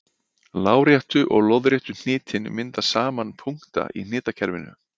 Láréttu og lóðréttu hnitin mynda saman punkta í hnitakerfinu.